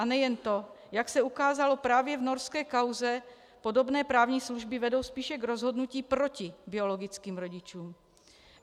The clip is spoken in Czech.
A nejen to, jak se ukázalo právě v norské kauze, podobné právní služby vedou spíše k rozhodnutí proti biologickým rodičům.